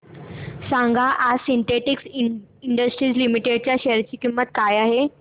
सांगा आज Sintex industries limited च्या शेअर ची किंमत काय आहे